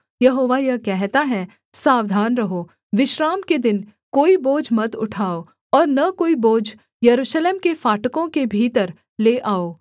यहोवा यह कहता है सावधान रहो विश्राम के दिन कोई बोझ मत उठाओ और न कोई बोझ यरूशलेम के फाटकों के भीतर ले आओ